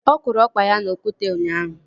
Ọ kụrụ ọkpa ya n'okwute ụnyaahụ